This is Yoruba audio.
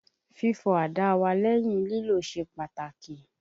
Fífọ àdá wa lẹ́yìn lílò ṣe pàtàkì.